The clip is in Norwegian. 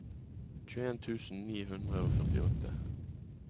tjueen tusen ni hundre og førtiåtte